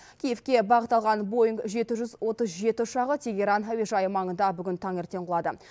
киевке бағыт алған боинг жеті жүз отыз жеті ұшағы тегеран әуежайы маңында бүгін таңертең құлады